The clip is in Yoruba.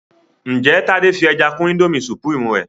njé Tade fí ẹja kún Indomie supreme rẹ?